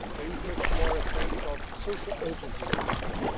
There is a much greater sense of social urgency than before.